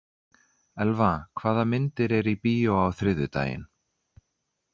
Elva, hvaða myndir eru í bíó á þriðjudaginn?